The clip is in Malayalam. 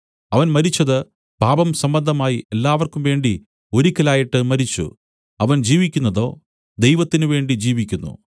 അവൻ മരിച്ചതു പാപസംബന്ധമായി എല്ലാവർക്കുംവേണ്ടി ഒരിക്കലായിട്ട് മരിച്ചു അവൻ ജീവിക്കുന്നതോ ദൈവത്തിനുവേണ്ടി ജീവിക്കുന്നു